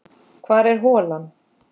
Hvar er holan?